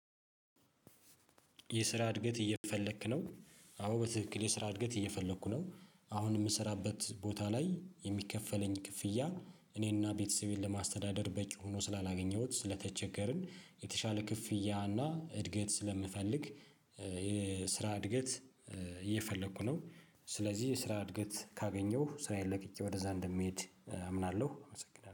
የስራ እድገት እየፈለክ ነው? አዎ በትክክል የስራ እድገት እየፈለኩ ነው አሁን የምሰራበት ቦታ ላይ የሚከፈለኝ ክፍያ እኔንና ቤተሰቤን ለማስተዳደር በቂ ሆኖ ስላላገኘሁት ስለተቸገርን የተሻለ ክፍያ እና እድገት ስለምፈልግ የስራ እድገት እየፈለኩ ነው ስለዚህ ስራ እድገት ካገኘሁ ስራዬን ለቅጬ ወደዛ እንደምሄድ አምናለሁ አመሰግናለሁ